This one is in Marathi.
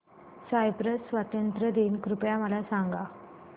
सायप्रस स्वातंत्र्य दिन कृपया मला सांगा